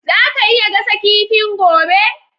Zaka iya gasa kifin gobe?